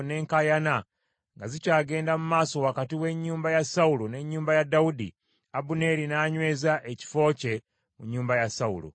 Entalo n’enkaayana nga zikyagenda mu maaso wakati w’ennyumba ya Sawulo n’ennyumba ya Dawudi, Abuneeri n’anyweza ekifo kye mu nnyumba ya Sawulo.